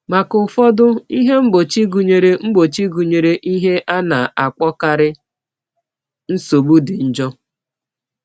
Maka ụfọdụ, ihe mgbochi gụnyere mgbochi gụnyere ihe a na-akpọkarị nsogbu dị njọ.